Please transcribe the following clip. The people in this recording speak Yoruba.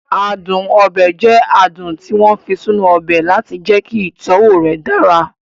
Adùn ọbẹ̀ jẹ adùn tí wọ́n fi sínú ọbẹ̀ láti jẹ́kí ìtọ́wọ̀ rẹ̀ dára